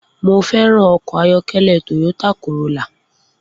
Mo fé̩ràn o̩kò̩ ayó̩ké̩lé̩ Toyota Corolla